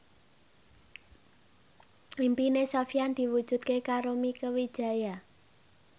impine Sofyan diwujudke karo Mieke Wijaya